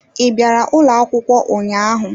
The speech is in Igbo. I bịara ụlọ akwụkwọ ụnyaahụ?